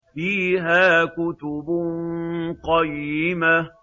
فِيهَا كُتُبٌ قَيِّمَةٌ